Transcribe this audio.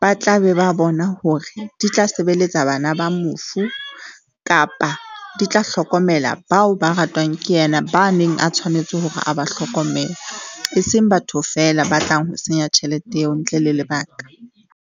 ba tla be ba bona hore di tla sebeletsa bana ba mofu kapa di tla hlokomela, bao ba ratwang ke yena ba neng a tshwanetse hore a ba hlokomele, eseng batho feela ba tlang ho senya tjhelete eo ntle le lebaka.